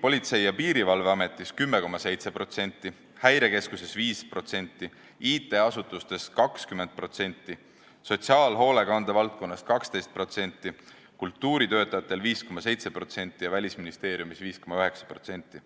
Politsei- ja Piirivalveametis 10,7%, häirekeskuses 5%, IT-asutustes 20%, sotsiaalhoolekande valdkonnas 12%, kultuuritöötajatel 5,7% ja Välisministeeriumis 5,9%.